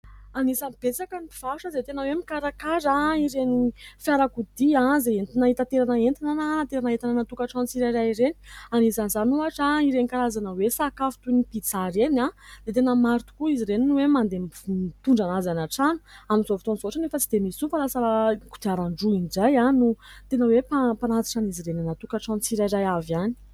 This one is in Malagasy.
Anisany betsaka ny mpivarotra izay tena hoe mikarakara ireny fiara-kodia, izay entina itanterana entana na itanterana entana ny tokatrano tsirairay ireny ; anisan'izany ohatra ireny karazana hoe sakafo toy ny "pizza" ireny dia tena maro tokoa izy ireny no hoe mandeha mitondra anazy any an-trano amin'izao fotoana izao otrany tsy dia misy olona fa lasa kodiaran-droa indray no tena hoe mpanatitra an'izy ireny anaty tokatrano tsirairay avy ihany.